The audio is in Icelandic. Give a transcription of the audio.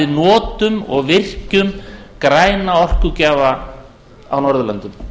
notum og virkjum græna orkugjafa á norðurlöndum